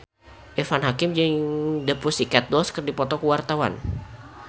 Irfan Hakim jeung The Pussycat Dolls keur dipoto ku wartawan